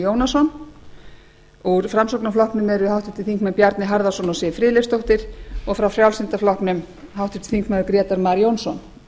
jónasson úr framsóknarflokknum eru háttvirtir þingmenn bjarni harðarson og siv friðleifsdóttir og frá frjálslynda flokknum háttvirtir þingmenn grétar mar jónsson